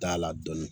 Da la dɔɔnin